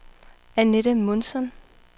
Annette Månsson